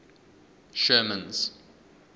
sherman's